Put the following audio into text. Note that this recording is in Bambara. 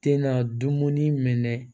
Te na dumuni minɛ